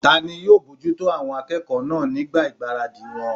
Tani yóò bojútó àwọn akẹ́kọ̀ọ́ náà nígbà ìgbáradì wọn?